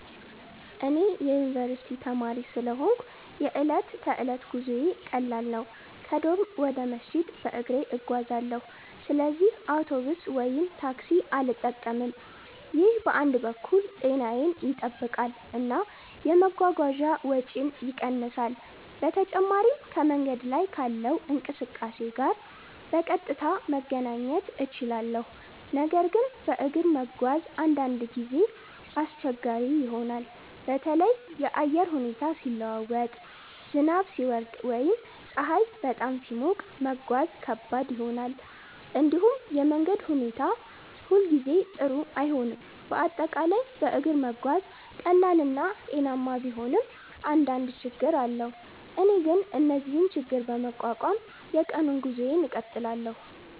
እኔ የዩኒቨርስቲ ተማሪ ስለሆንሁ የዕለት ተዕለት ጉዞዬ ቀላል ነው። ከዶርም ወደ መስጂድ በእግሬ እጓዛለሁ፣ ስለዚህ አውቶቡስ ወይም ታክሲ አልጠቀምም። ይህ በአንድ በኩል ጤናዬን ይጠብቃል እና የመጓጓዣ ወጪን ይቀንሳል። በተጨማሪም ከመንገድ ላይ ካለው እንቅስቃሴ ጋር በቀጥታ መገናኘት እችላለሁ። ነገር ግን በእግር መጓዝ አንዳንድ ጊዜ አስቸጋሪ ይሆናል። በተለይ የአየር ሁኔታ ሲለዋወጥ፣ ዝናብ ሲወርድ ወይም ፀሐይ በጣም ሲሞቅ መጓዝ ከባድ ይሆናል። እንዲሁም የመንገድ ሁኔታ ሁሉ ጊዜ ጥሩ አይሆንም፤ በአጠቃላይ በእግር መጓዝ ቀላል እና ጤናማ ቢሆንም አንዳንድ ችግኝ አለው። እኔ ግን እነዚህን ችግኝ በመቋቋም የቀኑን ጉዞዬን እቀጥላለሁ።